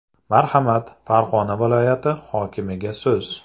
Marhamat, Farg‘ona viloyati hokimiga so‘z.